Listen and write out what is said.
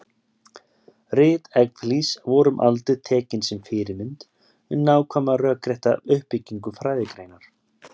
Rit Evklíðs voru um aldir tekin sem fyrirmynd um nákvæma rökrétta uppbyggingu fræðigreinar.